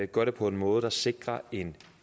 gør det på en måde der sikrer en